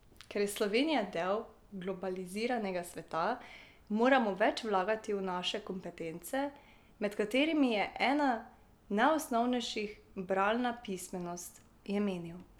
Ker je Slovenija del globaliziranega sveta, moramo več vlagati v naše kompetence, med katerimi je ena najosnovnejših bralna pismenost, je menil.